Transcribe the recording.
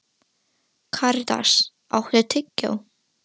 Karítas, áttu tyggjó?